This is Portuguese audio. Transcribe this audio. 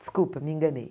Desculpa, me enganei.